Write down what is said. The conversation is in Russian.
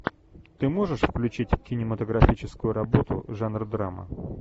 ты можешь включить кинематографическую работу жанр драма